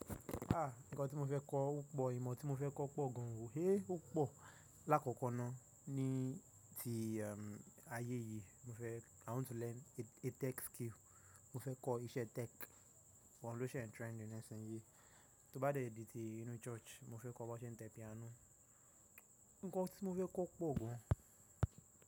Ah! Ǹkan tí mo fẹ́ kọ́ ó pọ̀, ìmọ̀ tí mo fẹ́ kọ́ pọ̀ gan o, héé ó pọ̀. Láàkọ́kọ́ náà ní ti ayé yìí mo fẹ́- I want to learn a tech skill. Mo fẹ́ kọ́ iṣẹ́ tech, ohun ló ṣe ń trend nisinyìí. Tó bá dẹ ìdí ti inú church, mo fẹ́ kọ́ bí wọ́n ṣe ń tẹ piano. Ǹkan tí mo fẹ́ kọ́ pọ̀ gan.